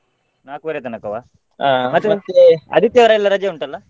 ನಾಲ್ಕುವರೆ ತನಕವಾ ಮತ್ತೇ ಆದಿತ್ಯವಾರ ಎಲ್ಲ ರಜೆ ಉಂಟಲ್ಲ?